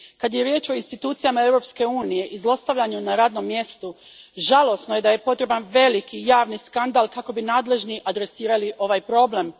Kad je riječ o institucijama Europske unije i zlostavljanju na radnom mjestu, žalosno je da je potreban velik javni skandal kako bi nadležni adresirali ovaj problem.